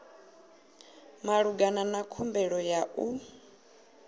malugana na khumbelo ya u